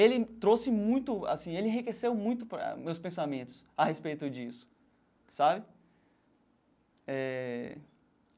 Ele trouxe muito assim ele enriqueceu muito os meus pensamentos a respeito disso sabe eh.